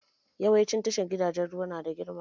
Yawancin tashar jiragen ruwa nada girma